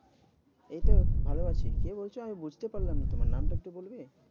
এই তো ভালো আছি। কে বলছো আমি বুঝতে পারলাম না? তোমার নামটা একটু বলবে?